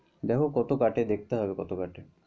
দেখ কত কাটে দেখতে হবে কত কাটে।